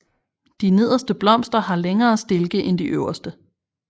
De nederste blomster har længere stilke end de øverste